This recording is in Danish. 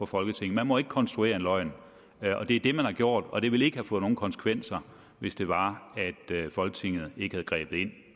folketinget man må ikke konstruere en løgn det er det man har gjort og det ville ikke have fået nogen konsekvenser hvis det var at folketinget ikke havde grebet ind